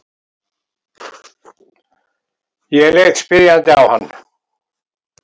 Ég leit spyrjandi á hann.